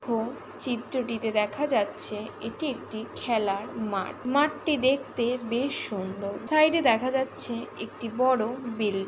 তো চিত্রটিতে দেখা যাচ্ছে এটি একটি খেলার মাঠ মাঠটি দেখতে বেশ সুন্দর সাইডে দেখা যাচ্ছে একটি বড় বিল্ডিং।